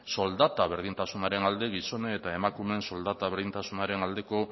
soldata berdintasunaren alde gizonen eta emakumeen soldata berdintasunaren aldeko